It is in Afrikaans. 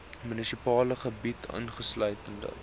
munisipale gebied insluitende